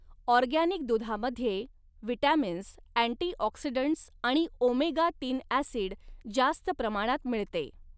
Organic दुधामध्ये vitamins, antioxidants आणि omega तीन अॅसिड जास्त प्रमाणात मिळते.